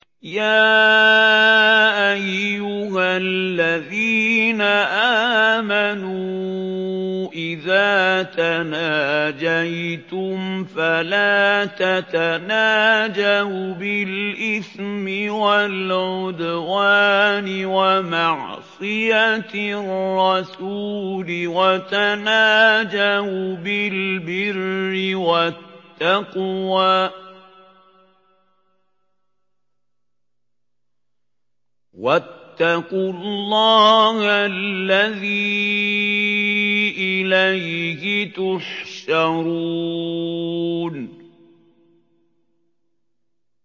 يَا أَيُّهَا الَّذِينَ آمَنُوا إِذَا تَنَاجَيْتُمْ فَلَا تَتَنَاجَوْا بِالْإِثْمِ وَالْعُدْوَانِ وَمَعْصِيَتِ الرَّسُولِ وَتَنَاجَوْا بِالْبِرِّ وَالتَّقْوَىٰ ۖ وَاتَّقُوا اللَّهَ الَّذِي إِلَيْهِ تُحْشَرُونَ